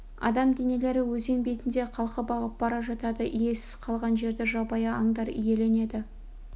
адам денелері өзен бетінде қалқып ағып бара жатады иесіз қалған жерді жабайы аңдар иеленеді